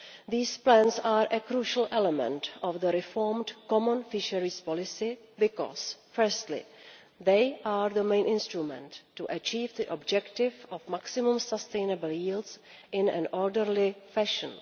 These plans are a crucial element of the reformed common fisheries policy because, firstly, they are the main instrument for achieving the objective of maximum sustainable yields in an orderly fashion.